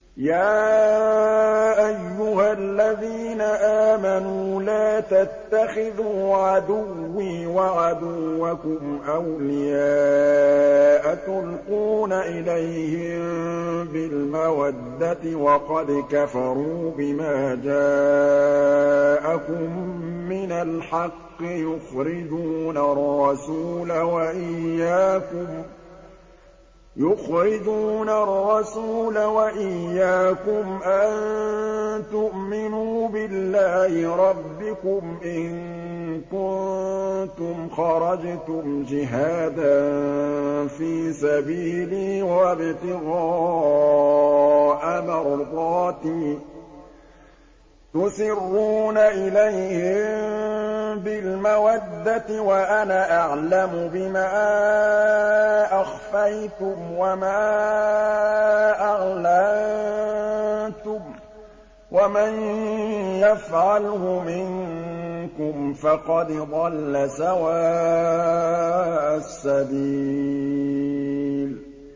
يَا أَيُّهَا الَّذِينَ آمَنُوا لَا تَتَّخِذُوا عَدُوِّي وَعَدُوَّكُمْ أَوْلِيَاءَ تُلْقُونَ إِلَيْهِم بِالْمَوَدَّةِ وَقَدْ كَفَرُوا بِمَا جَاءَكُم مِّنَ الْحَقِّ يُخْرِجُونَ الرَّسُولَ وَإِيَّاكُمْ ۙ أَن تُؤْمِنُوا بِاللَّهِ رَبِّكُمْ إِن كُنتُمْ خَرَجْتُمْ جِهَادًا فِي سَبِيلِي وَابْتِغَاءَ مَرْضَاتِي ۚ تُسِرُّونَ إِلَيْهِم بِالْمَوَدَّةِ وَأَنَا أَعْلَمُ بِمَا أَخْفَيْتُمْ وَمَا أَعْلَنتُمْ ۚ وَمَن يَفْعَلْهُ مِنكُمْ فَقَدْ ضَلَّ سَوَاءَ السَّبِيلِ